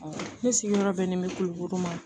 ne sigiyɔrɔ bɛnnen bɛ kulukoro ma